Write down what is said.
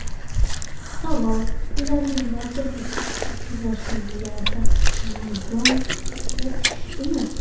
Savol: Ularning barchasi uchrashuvlarda maydonga tushdimi?